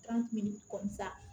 kun bɛ nin kɔ sa